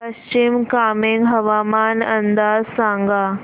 पश्चिम कामेंग हवामान अंदाज सांगा